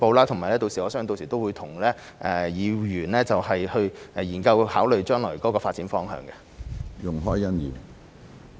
同時，我相信我們屆時亦會與議員研究及考慮將來的發展方向。